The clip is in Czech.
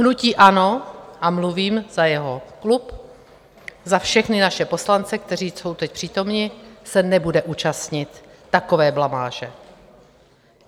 Hnutí ANO, a mluvím za jeho klub, za všechny naše poslance, kteří jsou teď přítomni, se nebude účastnit takové blamáže.